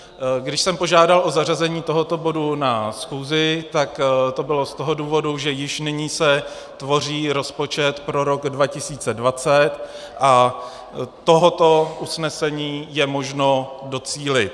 Když jsem požádal o zařazení tohoto bodu na schůzi, tak to bylo z toho důvodu, že již nyní se tvoří rozpočet pro rok 2020 a tohoto usnesení je možno docílit.